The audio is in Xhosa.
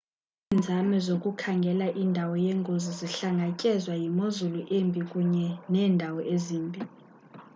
iinzame zokukhangela indawo yengozi zihlangatyezwa yimozulu embi kunye neendawo ezimbi